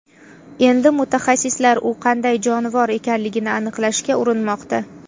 Endi mutaxassislar u qanday jonivor ekanligini aniqlashga urinmoqda.